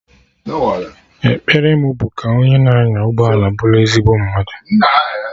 Ekpere mụ bụ ka onye na anya ụgbọala bụrụ ezigbo mmadụ